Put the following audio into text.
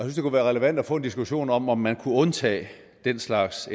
det kunne være relevant at få en diskussion om om man kunne undtage den slags